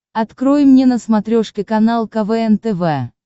открой мне на смотрешке канал квн тв